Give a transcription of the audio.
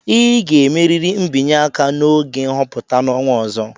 ị ga-emerịrị mbinye aka n'oge nhọpụta n'ọnwa ọzọ!